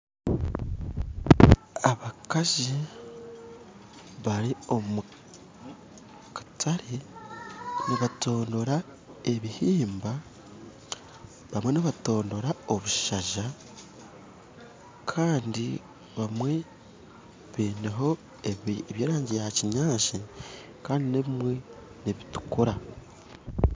Abakazi bari omu katare nibatondora ebihimba bamwe nibatondora obushaza kandi abamwe baineho eby'erangi ya kinyaatsi kandi n'ebimwe nibitukura